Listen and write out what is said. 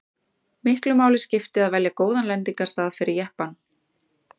miklu máli skipti að velja góðan lendingarstað fyrir jeppann